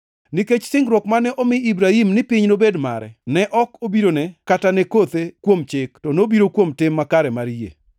Nikech singruok mane omi Ibrahim ni piny nobed mare, ne ok obirone kata ne kothe kuom chik, to nobiro kuom tim makare mar yie.